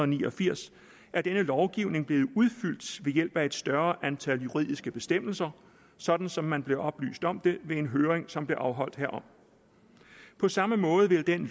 ni og firs er denne lovgivning blevet udfyldt ved hjælp af et større antal juridiske bestemmelser sådan som man blev oplyst om det ved en høring som blev afholdt herom på samme måde vil den